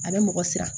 A bɛ mɔgɔ siran